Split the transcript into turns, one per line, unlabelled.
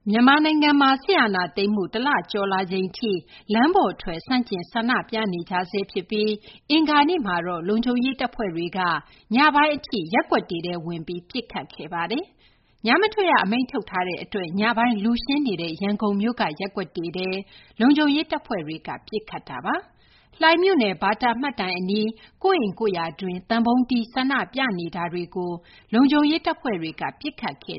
မြန်မာနိုင်ငံမှာ စစ်အာဏာသိမ်းမှု တလကျော်လာချိန်ထိ လမ်းပေါ်ထွက် ဆန့်ကျင် ဆန္ဒပြနေကြဆဲ ဖြစ်ပြီး အင်္ဂါနေ့မှာတော့ လုံခြုံရေး တပ်ဖွဲ့တွေက ညပိုင်း အထိ ရပ်ကွက်တွေထဲ ဝင်ပြီး ပစ်ခတ်ခဲ့ပါတယ်။ ညမထွက်ရ အမိန့်ထုတ်ထားတဲ့ အတွက် ညပိုင်း လူရှင်းနေတဲ့ ရန်ကုန်မြို့က ရပ်ကွက်တွေထဲ လုံခြုံရေး တပ်ဖွဲ့တွေက ပစ်ခတ်ခဲ့တာပါ။ လှိုင်မြို့နယ် ဘာတာ မှတ်တိုင် အနီး ကိုယ့်အိမ်ကိုယ့်ယာတွင်း သံပုံးတီး ဆန္ဒပြနေတာတွေကို လုံခြုံရေး တပ်ဖွဲ့တွေက ပစ်ခတ်ခဲ့